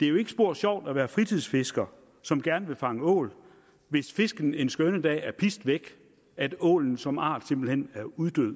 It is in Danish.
det er jo ikke spor sjovt at være en fritidsfisker som gerne vil fange ål hvis fisken en skønne dag er pist væk at ålen som art simpelt hen er uddød